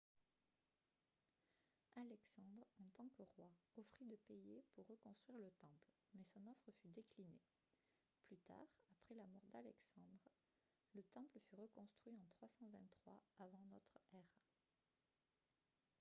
alexandre en tant que roi offrit de payer pour reconstruire le temple mais son offre fut déclinée plus tard après la mort d'alexandre le temple fut reconstruit en 323 avant notre ère